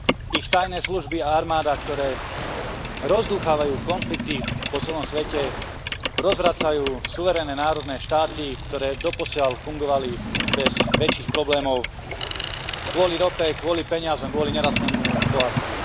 Ich tajné služby a armáda, ktoré rozdúchavajú konflikty po celom svete, rozvracajú suverénne národné štáty, ktoré doposiaľ fungovali bez väčších problémov, kvôli rope, kvôli peniazom, kvôli nerastnému bohatstvu.